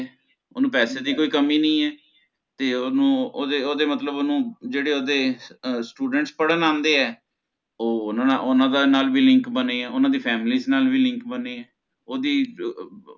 ਓਹਨੂੰ ਪੈਸੇ ਦੀ ਕੋਈ ਕਮੀ ਨੀ ਹੈ ਤੇ ਓਹਨੂੰ ਓਹਦੇ ਓਹਦੇ ਮਤਲਬ ਓਹਨੂੰ ਜਿਹੜੇ ਓਦੇ students ਪੜ੍ਹਨ ਆਂਦੇ ਹੈ ਓਹਨਾ ਦਾ ਓਹਨਾਂ ਨਾਲ ਵੀ Link ਬਣੇ ਓਹਦੀ family ਨਾਲ ਵੀ Link ਬਣੇ ਓਹਦੀ ਬ ਅਹ ਅਹ